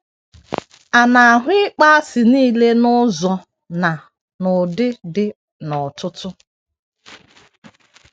A na - ahụ ịkpọasị nile n’ụzọ na n’ụdị dị nnọọ ọtụtụ.